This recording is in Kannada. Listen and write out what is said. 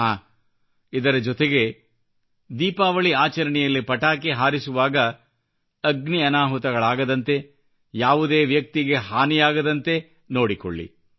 ಹಾಂ ಇದರ ಜೊತೆಗೆ ದೀಪಾವಳಿ ಆಚರಣೆಯಲ್ಲಿ ಪಟಾಕಿ ಹಾರಿಸುವಾಗ ಅಗ್ನಿ ಅನಾಹುತಗಳಾಗದಂತೆ ಯಾವುದೇ ವ್ಯಕ್ತಿಗೆ ಹಾನಿಯಾಗದಂತೆ ನೋಡಿಕೊಳ್ಳಿ